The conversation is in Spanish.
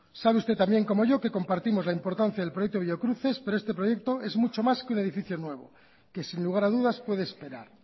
sabe usted tan bien como yo que compartimos la importancia del proyecto biocruces pero este proyecto es mucho más que un edificio nuevo que sin lugar a dudas puede esperar